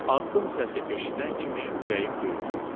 Addım səsi eşidən kimi ürəyim döyünürdü.